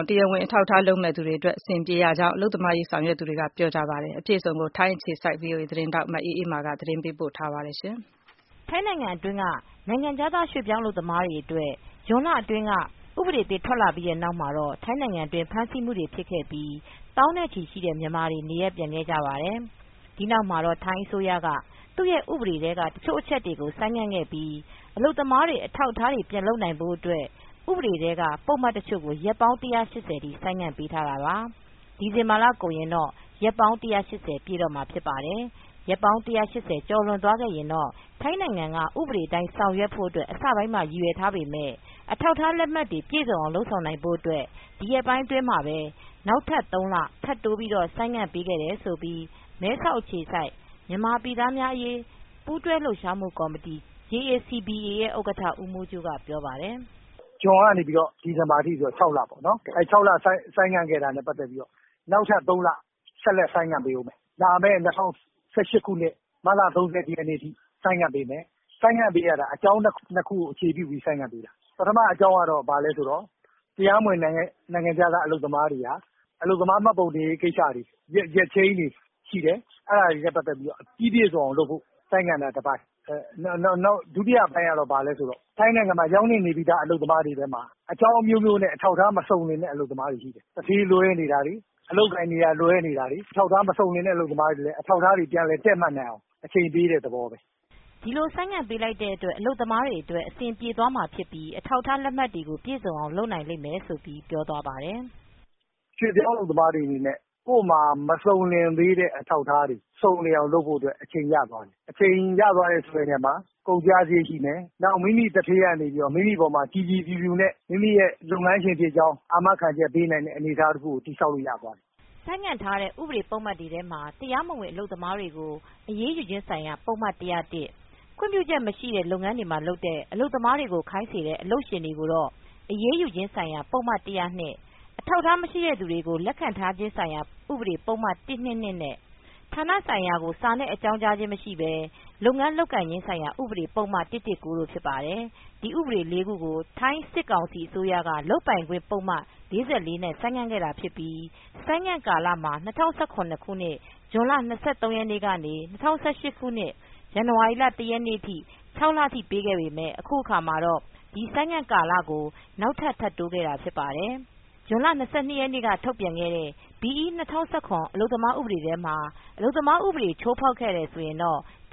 က် တရားဝင်အထောက်အထား လုပ်မယ့်သူတွေအတွက် ပိုမိုအဆင်ပြေသွားစေ တယ်လို့ အလုပ်သမားရေး ဆောင်ရွက်သူတွေက ပြောပါတယ်။ VOA သတင်းထောက် မအေးအေးမာက သတင်းပေးပို့ထားပါတယ်။ ထိုင်းနိုင်ငံအတွင်း နိုင်ငံခြားသား ရွှေ့ပြောင်းအလုပ်သမားတွေအတွက် ဇွန်လအတွင်း ဥပဒေအသစ် ထွက်လာပြီး နောက်မှာတော့ ထိုင်းနိုင်ငံတွင်း ဖမ်းဆီးမှုတွေဖြစ်ခဲ့ပြီး သောင်းနဲ့ချီရှိတဲ့ မြန်မာတွေ နေရပ်ပြန်ခဲ့ကြပါတယ်။ ဒီနောက်မှာတော့ ထိုင်းအစိုးရကနေ သူ့ရဲ့ ဥပဒေထဲက တချို့ အချက်တွေကို ဆိုင်းငံ့ခဲ့ပြီး အလုပ်သမားတွေ အထောက် အထားတွေ ပြန်လုပ်နိုင်ဖို့အတွက် ဥပဒေထဲက ပုဒ်မတချို့ကို ရက်ပေါင်း ၁၈၀ အထိ ဆိုင်ငံ့ပေးထားတာပါ။ ဒီဇင်ဘာလကုန်ရင် ရက်ပေါင်း ၁၈၀ ပြည့်တော့မှာပါ။ ရက်ပေါင်း ၁၈၀ ကျော်လွန်သွားရင်တော့ ထိုင်းနိုင်ငံက ဥပဒေအတိုင်း ဆောင်ရွက်ဖို့ အစပိုင်းမှာ ရည်ရွယ်ထားပေမဲ့ အထောက်အထား လက်မှတ်တွေ ပြည့်စုံအောင် လုပ်ဆောင်နိုင်ဖို့ အတွက် ဒီရက်ပိုင်းမှာပဲ နောက်ထပ် ၃လ ထပ်တိုး ဆိုင်းငံ့ပေးခဲ့တယ်လို့ မဲဆောက် အခြေစိုက် မြန်မာပြည်သားများအရေး ပူးတွဲလှုပ်ရှားမှု ကော်မတီ JACBA ရဲ့ဥက္ကဌ ဦးမိုးကြိုးက ဆိုပါတယ်။ “ဇွန်ကနေ ဒီဇင်ဘာအထိဆိုရင် ၆လပေါ့နော် ၆လဆိုင်းငံ့ ခဲ့တာနဲ့ ပတ်သက်ပြီး နောက်ထပ် ၃လ ဆိုင်းငံ့ဆက်လက်ပေးမယ် လာမဲ့ ၂၀၁၈ မတ်လ ၃၁ အထိ ဆိုင်းငံပေးမယ်။ ဆိုင်းငံ့တာက အကြောင်းအချက် ၂ခုကို အခြေခံပြီး ဆိုင်းငံ့ပေးမယ်။ ပထမအကြောင်းက တရားမဝင် နိုင်ငံခြားသား အလုပ်သမားတွေဟာ အလုပ်သမား မှတ်ပုံတင်ဖို့ ရက်ချိန်းတွေရှိတယ်။ အဲဒါတွေနဲ့ ပတ်သက်လို့ ပြီးပြည့်စုံအောင် ဆိုင်းငံ့ တာကတပိုင်း၊ ဒုတိယအပိုင်းကျတော့ ထိုင်းနိုင်ငံမှာရောက်နှင့်နေပြီးသား အလုပ်သမား တွေထဲမှာ အကြောင်း အမျိုးမျိုးနဲ့ အထောက်အထား မစုံတဲ့ အလုပ်သမားတွေ ရှိတယ်။ သူဌေး လွဲနေတာ အလုပ်လုပ်ကိုင်တွေ နေရာလွဲနေတာတွေ၊အထောက်အထား မစုံလင်တာက အထောက်အထားတွေ ပြန်လည် တည့်မတ်အောင် အချိန်ပေးတဲ့ သဘောပေါ့” ဒီလိုဆိုင်းငံ့ ပေးလိုက်တဲ့အတွက် အလုပ်သမားတွေအတွက် အဆင်ပြေသွားမှာဖြစ်ပြီး အထောက်အထား လက်မှတ်တွေကို ပြည်စုံအောင် လုပ်နိုင်မယ်လု့ိလည်း သူက ပြောပါတယ်။ “ရွှေ့ပြောင်းအလုပ်သမားတွေ အနေနဲ့ ကိုယ့်မှာ မစုံလင်သေးတဲ့ အထောက်အထားတွေ စုံလင်အောင် လုပ်ဖို့အတွက် အချိန်ရသွားတဲ့ သဘော၊ အချိန်ဆိုတဲ့နေရာမှာ ကုန်ကျစရိတ် ရှိမယ်။ မိမိသူဌေးက မိမိကို ကြည်ကြည်ဖြူဖြူနဲ့ မိမိရဲ့ လုပ်ငန်းရှင်ဖြစ်ကြောင်း အားမခံချက်ပေးနိုင်တဲ့ အနေအထားတခုကို တည်ဆောက်နိုင်တဲ့သဘော ဖြစ်သွားတယ်” ဆိုင်းငံ့ထားတဲ့ ဥပဒေ ပုဒ်မတွေထဲမှာ တရားမဝင် အလုပ်သမားတွေကို အရေးယူခြင်း ဆိုင်ရာပုဒ်မ ၁၀၁ ၊ ခွင့်ပြုချက်မရှိတဲ့ လုပ်ငန်းတွေမှာ လုပ်တဲ့ အလုပ်သမားကို ခိုင်းစေနေတဲ့ အလုပ်ရှင်တွေကိုတော့ အရေးယူခြင်းဆိုင်ရာ ပုဒ်မ ၁၀၂၊ အထောက်အထား မရှိတဲ့သူတွေကို လက်ခံ ထားခြင်းဆိုင်ရာ ဥပဒေပုဒ်မ ၁၂၂ နဲ့ ဌာနဆိုင်ရာကို စာနဲ့ အကြောင်းကြားခြင်းမရှိဘဲ လုပ်ငန်း လုပ်ကိုင်ခြင်းဆိုင်ရာ ဥပဒေပုဒ်မ ၁၁၉ တို့ ဖြစ်ပါတယ်။ ဒီဥပဒေ ၄ ခုကို ထိုင်းစစ်ကောင်စီ အစိုးရလုပ်ပိုင်ခွင့် ပုဒ်မ ၄၄ နဲ့ ဆိုင်းငံ့ခဲ့တာဖြစ်ပြီး၊ ဆိုင်းငံ့ကာလမှာ ၂၀၁၇ ဇွန်လ ၂၃ ရက်နေ့မှ ၂၀၁၈ ဇန်နဝါရီလ ၁ ရက်နေ့အထိ ၆ လထိပေးခဲ့ပေမယ့် အခုအခါမှာတော့ ဒီဆိုင်းငံ့ကာလကို နောက်ထပ် ၃လ ထပ်တိုးခဲ့တာ ဖြစ်ပါတယ်။ ဇွန် ၂၂ ရက်က ထုတ်ပြန်ခဲ့တဲ့ ဘီအီး ၂၀၁၇ အလုပ်သမားဥပဒေထဲမှာ အလုပ်သမား ဥပဒေချိုးဖောက်ရင် ဒ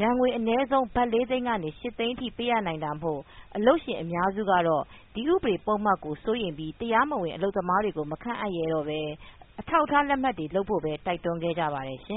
ဏ်ငွေ အနည်းဆုံး ဘတ် ၄ သိန်းမှ ၈ သိန်းထိ ပေးဆောင်ရနိုင်တာမို့ အလုပ်ရှင်အများစုကတော့ ဒီဥပဒေပုဒ်မကို စိုးရိမ်ပြီး တရားမဝင် အလုပ်သမားတွေကို မခန့်ရဲတော့ပဲ အထောက်အထား လက်မှတ်တွေလုပ်ဖို့ တိုက်တွန်းခဲ့ကြ ပါတယ်ရှင